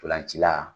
Ntolancila